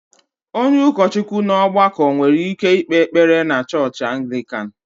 Onye ụkọchukwu na ọgbakọ nwere ike ikpe ekpere na chọọchị Anglican